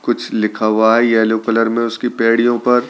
कुछ लिखा हुआ है येलो कलर में उसकी पैड़ीयों पर--